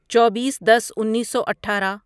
چوبیس دس انیسو اٹھارہ